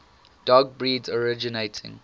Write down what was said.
dog breeds originating